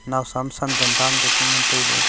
nawsam sandan dan ka chu ngan tailey.